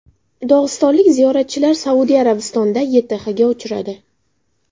Dog‘istonlik ziyoratchilar Saudiya Arabistonida YTHga uchradi.